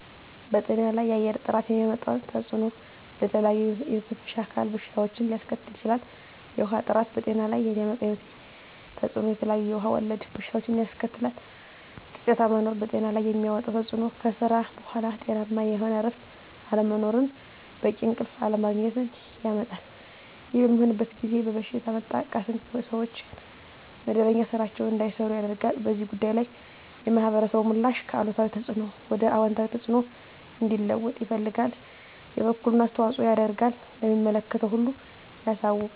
በጤና ላይ የአየር ጥራት የሚያመጣው ተፅዕኖ ለተለያዩ የመተንፈሻ አካል በሽታዎችን ሊያስከትል ይችላል። የውሀ ጥራት በጤና ላይ የሚያመጣው ተፅዕኖ የተለያዩ ውሀ ወለድ በሽታዎችን ያስከትላል። ጫጫታ መኖር በጤና ላይ የሚያመጣው ተፅዕኖ ከስራ በኃላ ጤናማ የሆነ እረፍት አለመኖርን በቂ እንቅልፍ አለማግኘት ያመጣል። ይህ በሚሆንበት ጊዜ በበሽታ መጠቃትን ሰዎች መደበኛ ስራቸዉን እንዳይሰሩ ያደርጋል። በዚህ ጉዳይ ላይ የማህበረሰቡ ምላሽ ከአሉታዊ ተፅዕኖ ወደ አወንታዊ ተፅዕኖ እንዲለወጥ ይፈልጋል የበኩሉን አስተዋፅኦ ያደርጋል ለሚመለከተው ሁሉ ያሳውቃል።